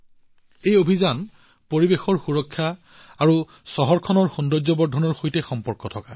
এই অভিযানটো পৰিৱেশৰ সুৰক্ষাৰ লগতে চহৰখনৰ সৌন্দৰ্যবৰ্ধনৰ সৈতে জড়িত